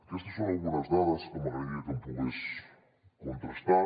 aquestes són algunes dades que m’agradaria que em pogués contrastar